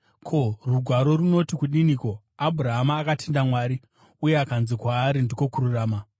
Ko, Rugwaro runoti kudiniko? “Abhurahama akatenda Mwari, uye kukanzi kwaari ndiko kururama.”